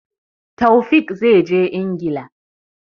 Taofiq zai je Ingila.